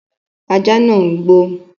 Ajá nàá ń gbó